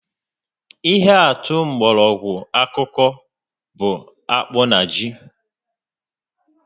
Ihe atụ mgbọrọgwụ ákùkù bụ akpụ na ji